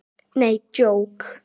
Nei, djók.